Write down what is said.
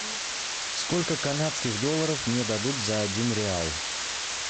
сколько канадских долларов мне дадут за один реал